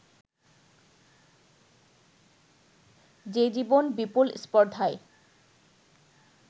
যে জীবন বিপুল স্পর্ধায়